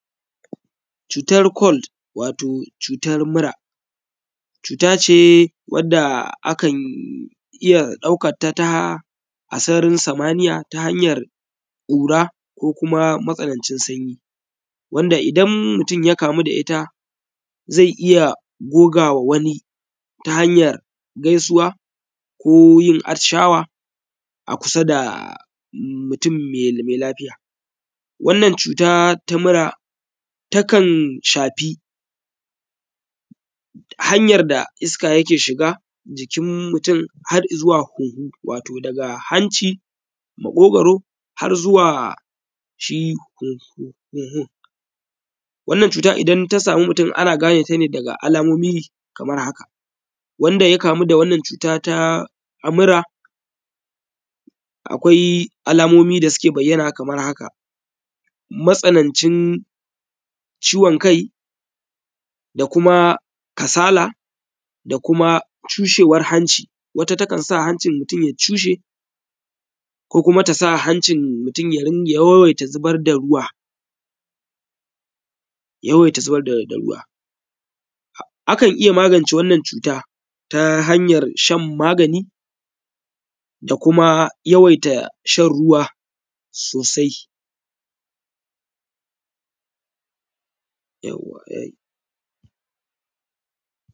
Cutar kol wato cutar mura. Cuta ce wadda akan iya daukanta ta a sararin samaniya ta hanyar ƙura ko kuma matsanan cin sanyi, wanda idan mutum ya kamu da ita zai iya gogawa wani ta hanyar gaisuwa ko yin atishawa a kusa da mutum mai lafiya. Wannan cuta ta mura ta kan shafi hanyar da iska yake shiga jikin mutum har izuwa hunhu, wato daga hanci, maƙogaro har zuwa shi hunhun. Wannan cuta idan ta samu mutum ana ganeta ne daga alamomi kamar haka:- Wanda ya kamu da wannan cuta ta mura akwai alamomi da suke bayyana kamar haka:- matsanancin ciwon kai da kuma kasala da kuma cushewar hanci, wata takan sa hancin mutum ya cushe ko kuma ta sa hancin mutum ya yawaita zubar da ruwa, yawaita zubar da ruwa, akan iya magance wannan cuta ta hanyar shan magani da kuma yawaita shan ruwa sosai yauwa ya yi.